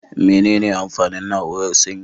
Mene ne amfanin na'urar sanyi?